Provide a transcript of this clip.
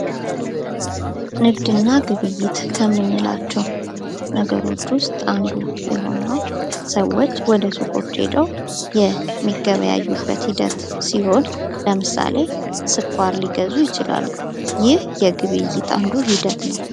ንግድና ግብይት ከምንላቸው ነገሮች ውስጥ አንዱ የሆነው ሰዎች ወደ ሱቆች ሄደው የሚገበያዩበት ሂደት ሲሆን ለምሳሌ ስኳር ሊገዙ ይችላሉ ። ይህ የግብይት አንዱ ሂደት ነው ።